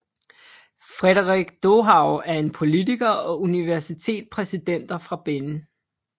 Frédéric Dohou er en politiker og universitet præsidenter fra Benin